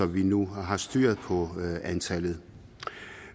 vi nu har styr på antallet